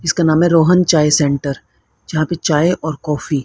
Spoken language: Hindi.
इसका नाम है रोहन चाय सेंटर यहां पे चाय और कॉफी --